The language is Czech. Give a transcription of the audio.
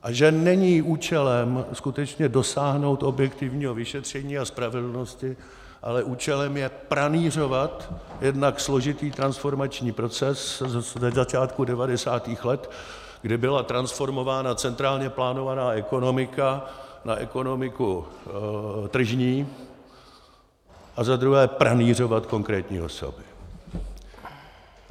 A že není účelem skutečně dosáhnout objektivního vyšetření a spravedlnosti, ale účelem je pranýřovat jednak složitý transformační proces ze začátku 90. let, kdy byly transformována centrálně plánovaná ekonomika na ekonomiku tržní, a za druhé pranýřovat konkrétní osoby.